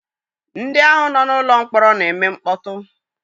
Ndị ahụ nọ n'ụlọ mkpọrọ na-eme mkpọtụ.